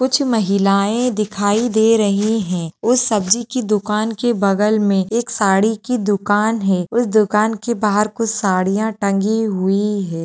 कुछ महिलाएं दिखाई दे रही हैं उस सब्जी की दुकान के बगल में एक साड़ी की दुकान है उस दुकान के बाहर कुछ साड़ियां टंगी हुई है।